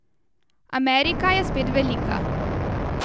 Amerika je spet velika.